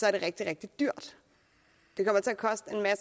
er det rigtig rigtig dyrt